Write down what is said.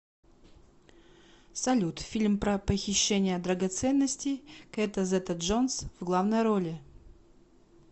салют фильм про похищение драгоценностей кета зета джонс в главной роли